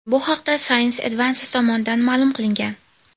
Bu haqda Science Advances tomonidan ma’lum qilingan .